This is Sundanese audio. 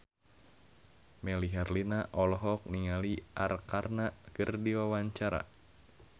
Melly Herlina olohok ningali Arkarna keur diwawancara